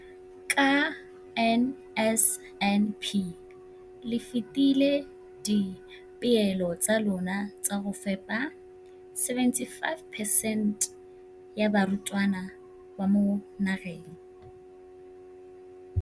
Ka NSNP le fetile dipeelo tsa lona tsa go fepa masome a supa le botlhano a diperesente ya barutwana ba mo nageng.